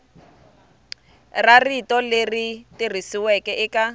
ra rito leri tikisiweke eka